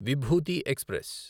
Vibhuti express